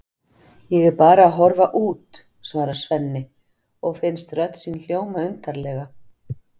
Ég er bara að horfa út, svarar Svenni og finnst rödd sín hljóma undarlega.